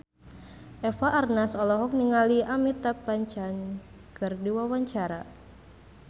Eva Arnaz olohok ningali Amitabh Bachchan keur diwawancara